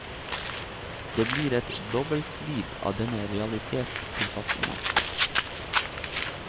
Det blir et dobbeltliv av denne realitetstilpasningen.